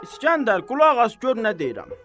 İskəndər, qulaq as gör nə deyirəm.